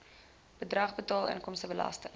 bedrag betaal inkomstebelasting